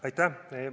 Aitäh!